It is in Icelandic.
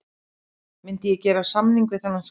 Myndi ég gera samning við þennan skríl?